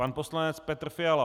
Pan poslanec Petr Fiala.